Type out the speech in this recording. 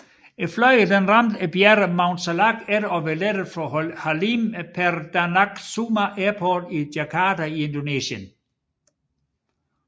Flyet ramte bjerget Mount Salak efter at være lettet fra Halim Perdanakusuma Airport i Jakarta i Indonesien